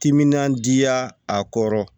Timinandiya a kɔrɔ